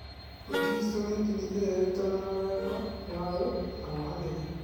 Ũkristiano nĩ ndini ĩrĩa ĩrutanaga wendo, thayũ, na wohanĩri.